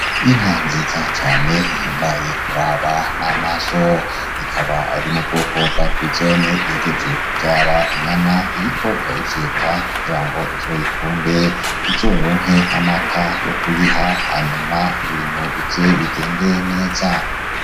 Inka nziza cane ihimbaye kuraba n'amaso ikaba ari mu bwoko bwa frizone iheje kuvyara inyana iriko irayifyeta kugira ngo izoyikunde, izoronke n'amata yo kuyiha hanyuma ibintu bize bigende neza.